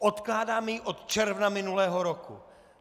Odkládáme ji od června minulého roku!